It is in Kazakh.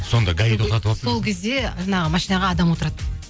сонда гаи тоқтатыватса сол кезде жаңағы машинаға адам отырады